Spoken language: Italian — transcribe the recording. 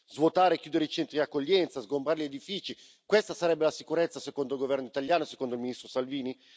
Svuotare e chiudere i centri di accoglienza, sgombrare gli edifici, questa sarebbe la sicurezza secondo il governo italiano e secondo il ministro Salvini?